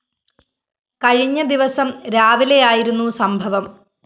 കഴിഞ്ഞ ദിവസം രാവിലെയായിരുന്നു സംഭവം